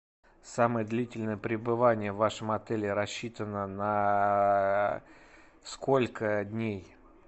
самое длительное пребывание в вашем отеле рассчитано на сколько дней